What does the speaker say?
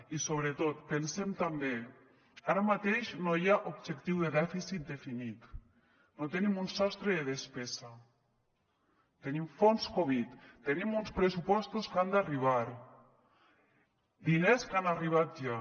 i sobretot pensem també ara mateix no hi ha objectiu de dèficit definit no tenim un sostre de despesa tenim fons covid tenim uns pressupostos que han d’arribar diners que han arribat ja